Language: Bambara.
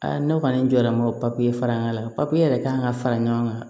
ne kɔni jɔlen m'o papiye fara ɲɔgɔn kan papiye yɛrɛ kan ka fara ɲɔgɔn kan